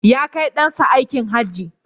Ya kai ɗan sa aikin Hajji